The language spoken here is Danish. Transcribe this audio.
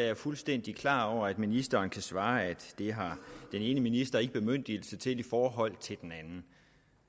jeg fuldstændig klar over at ministeren kan svare at det har den ene minister ikke bemyndigelse til i forhold til den anden